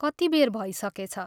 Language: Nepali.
कति बेर भै सकेछ।